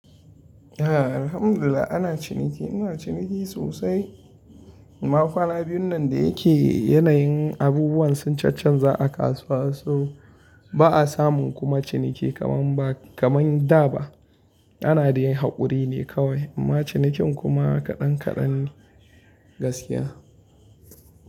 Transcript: Eh, alhamdulillah ana ciniki, ina ciniki sosai. Makwana biyun nan da yake yanayin abubuwan sun cancanza a kasuwa, so ba'a samu kuma ciniki kaman ba, kaman da ba. Ana dai yin haƙuri ne kawai amma cinikin kuma kaɗan kaɗan ne gaskiya.